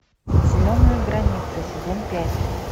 зеленая граница сезон пять